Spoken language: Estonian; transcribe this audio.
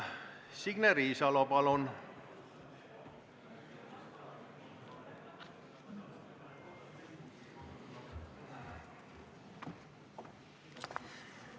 Signe Riisalo, palun!